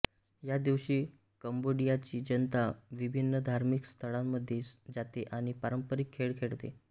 या दिवशी कंबोडियाची जनता विभिन्न धार्मिक स्थळांमध्ये जाते आणि पारंपरिक खेळ खेळते